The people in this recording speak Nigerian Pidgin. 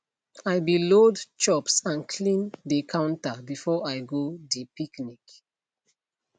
i be load chops and clean de counter before i go de picnic